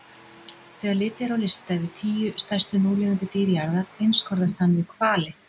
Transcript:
Þegar litið er á lista yfir tíu stærstu núlifandi dýr jarðar einskorðast hann við hvali.